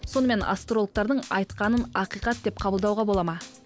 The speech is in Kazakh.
сонымен астрологтардың айтқанын ақиқат деп қабылдауға болады ма